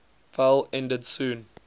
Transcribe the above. fell ended soon